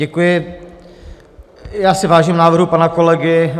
Děkuji, já si vážím návrhu pana kolegy.